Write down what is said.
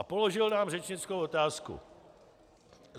A položil nám řečnickou otázku.